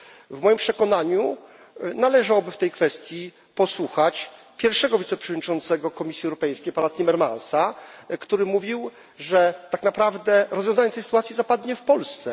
W moim przekonaniu należałoby w tej kwestii posłuchać pierwszego wiceprzewodniczącego Komisji Europejskiej, pana Timmermansa, który mówił, że tak naprawdę rozwiązanie tej sytuacji zapadnie w Polsce.